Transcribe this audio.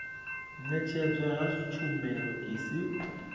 ṅetshedzwa ha tshumelo i si